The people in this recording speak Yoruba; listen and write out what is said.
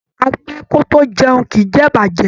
A pẹ́ kò tó jẹun, kìí jẹ ìbàjẹ́.